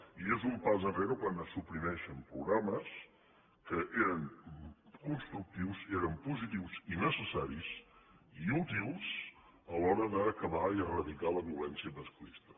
i és un pas enrere quan se suprimeixen programes que eren constructius eren positius i necessaris i útils a l’hora d’acabar i eradicar la violència masclista